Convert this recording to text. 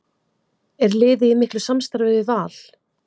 Er liðið í miklu samstarfi við Val?